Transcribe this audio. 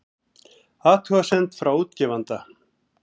Athugasemd frá útgefanda